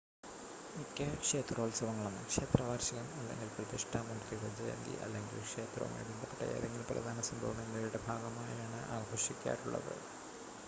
മിക്ക ക്ഷേത്രോത്സവങ്ങളും ക്ഷേത്രവാർഷികം അല്ലെങ്കിൽ പ്രതിഷ്ഠാ മൂർത്തിയുടെ ജയന്തി അല്ലെങ്കിൽ ക്ഷേത്രവുമായി ബന്ധപ്പെട്ട ഏതെങ്കിലും പ്രധാന സംഭവം എന്നിവയുടെ ഭാഗമായാണ് ആഘോഷിക്കാറുള്ളത്